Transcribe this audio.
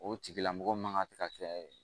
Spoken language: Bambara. O tigilamɔgɔ man ka se ka kɛ